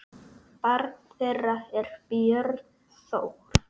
Barn þeirra er Björn Þór.